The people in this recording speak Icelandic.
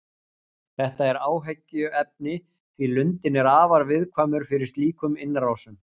Þetta er áhyggjuefni því lundinn er afar viðkvæmur fyrir slíkum innrásum.